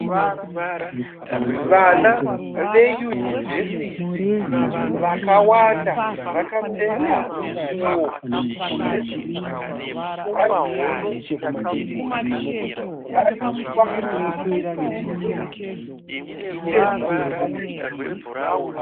Vana veyunivhesiti vakawanda, vakapfeka nguwo dzedzidzo, vari kuratidza kuti vari kufara vachipembera kupedza kwavaita dzidzo.